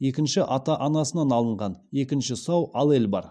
екінші ата анасынан алынған екінші сау аллель бар